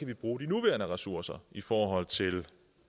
kan bruge de nuværende ressourcer i forhold til